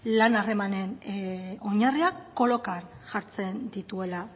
lan harremanen oinarriak kolokan jartzen dituela